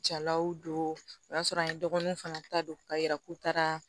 Jalaw don o y'a sɔrɔ an ye dɔgɔnunw fana ta don k'a yira k'u taara